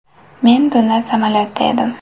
Men tunda samolyotda edim.